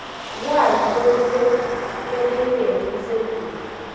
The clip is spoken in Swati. lwati lolusecophelweni lelisetulu